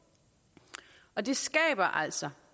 og det skaber altså